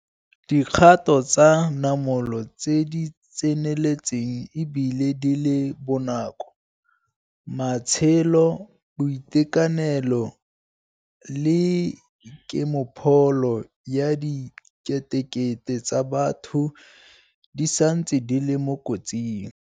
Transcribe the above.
dikgato tsa namolo tse di tseneletseng e bile di le bonako. Matshelo, boitekanelo le kemopholo ya diketekete tsa batho di santse di le mo kotsing.